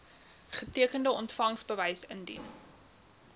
getekende ontvangsbewys indien